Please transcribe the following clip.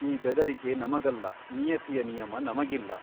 ಈ ಬೆದರಿಕೆ ನಮಗಲ್ಲನಿಯತಿಯ ನಿಯಮ ನಮಗಿಲ್ಲ.